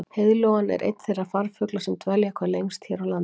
heiðlóan er einn þeirra farfugla sem dvelja hvað lengst hér á landi